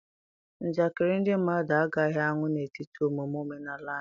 Njakịrị ndị mmadụ agaghị anwụ n'etiti omume omenala anyị.